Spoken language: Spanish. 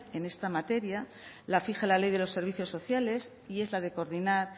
en esta materia la fija la ley de los servicios sociales y es la de coordinar